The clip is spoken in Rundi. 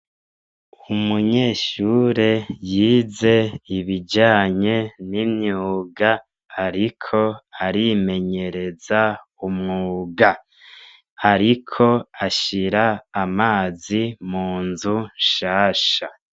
Umunyeshure yize ibijanye n’imyuga ariko arimenyereza umwuga. Ariko ashira amazi munzu nshasha.